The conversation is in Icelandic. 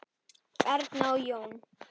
Erna og Jón.